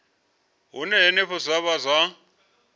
hune henefho zwa vha zwa